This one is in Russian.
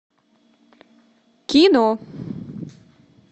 кино